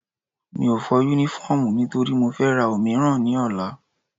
Mi ò fọ Únífọ́ọ̀mù nítorí mo fẹ́ ra òmíràn ní ọ̀la